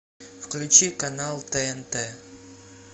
включи канал тнт